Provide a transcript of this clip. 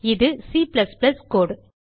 இது C கோடு